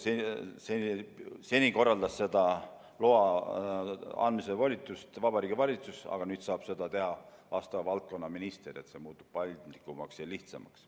Seni korraldas loa andmist volitusnormi alusel Vabariigi Valitsus, aga nüüd saab seda teha vastava valdkonna minister – see muutub paindlikumaks ja lihtsamaks.